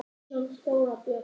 Umsjón: Þóra Björg.